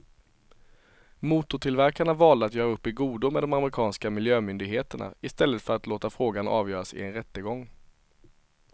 Motortillverkarna valde att göra upp i godo med de amerikanska miljömyndigheterna i stället för att låta frågan avgöras i en rättegång.